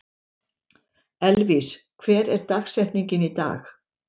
Elvis, hver er dagsetningin í dag?